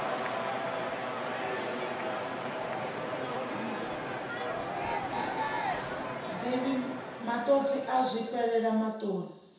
divhi matodzi u zwifhela matodzi